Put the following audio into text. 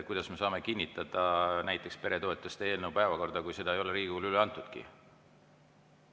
Kuidas me saame kinnitada päevakorda näiteks peretoetuste eelnõu, kui seda ei ole Riigikogule üle antudki?